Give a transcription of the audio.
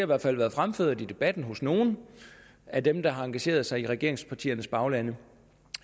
hvert fald blevet fremført i debatten af nogle af dem der har engageret sig i regeringspartiernes bagland